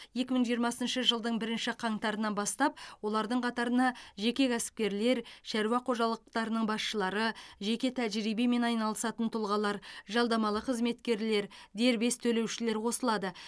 екі мың жиырмасыншы жылдың бірінші қаңтарынан бастап олардың қатарына жеке кәсіпкерлер шаруа қожалықтарының басшылары жеке тәжірибемен айналысатын тұлғалар жалдамалы қызметкерлер дербес төлеушілер қосылады